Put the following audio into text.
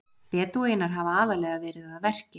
Bedúínar hafa aðallega verið að verki.